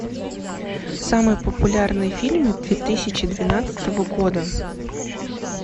самые популярные фильмы две тысячи двенадцатого года